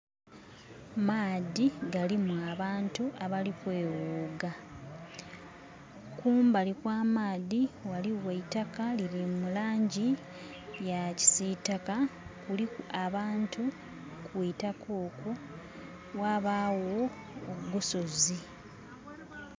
Maadhi galimu abantu abali kweghuga. Kumbali kwa maadhi ghaligho eitaka erili mu langi eya kisitaka, kuliku abantu kwitaka okwo, ghabagho ogusozi.